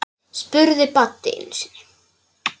spurði Baddi einu sinni.